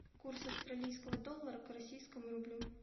курс австралийского доллара к российскому рублю